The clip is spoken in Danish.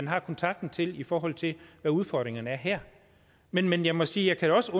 har kontakten til i forhold til hvad udfordringerne er her men men jeg må sige at jeg også